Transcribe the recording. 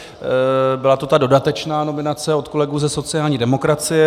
Byla to ta dodatečná nominace od kolegů ze sociální demokracie.